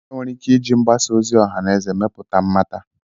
Enwere ike iji mgbasa ozi ọha na eze mepụta mmata.